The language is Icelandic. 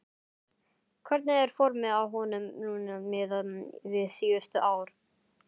Hvernig er formið á honum núna miðað við síðustu ár?